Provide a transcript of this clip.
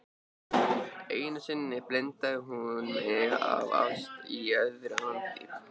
Einu sinni blindaði hún mig af ást í öðru landi.